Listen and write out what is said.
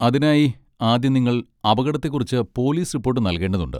അതിനായി, ആദ്യം, നിങ്ങൾ അപകടത്തെക്കുറിച്ച് പോലീസ് റിപ്പോട്ട് നൽകേണ്ടതുണ്ട്.